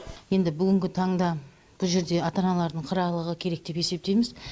енді бүгінгі таңда бұ жерде ата аналардың қырағылығы керек деп есептейміз